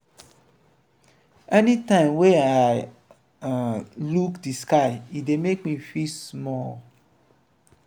anytime wey i um look di sky e dey make me feel small.